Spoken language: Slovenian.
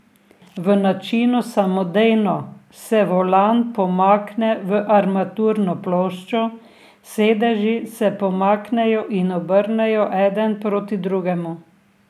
V načinu samodejno se volan pomakne v armaturno ploščo, sedeži se pomaknejo in obrnejo eden proti drugemu.